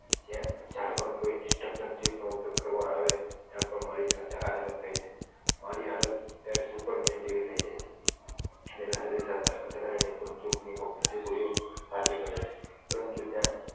જયારે પણ કોઈ intruption chip નો ઉપયોગ કરવામાં આવે ત્યારે પણ મારી સંખ્યા આ તરફ થાય છે મારી આદત ત્યારે સુપરમેન જેવી થઈ જાય છે જેની સાથે અથડાઈને બંધુક ની ગોળીઓ કાચી પડે છે પરંતુ જ્યાં